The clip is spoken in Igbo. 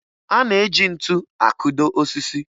A na-eji ntu akụdo osisi